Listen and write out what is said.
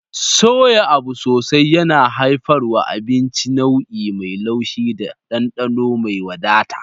Soya abu sosai yana haifarwa abinci nau'i mai laushi da dandano mai wadata.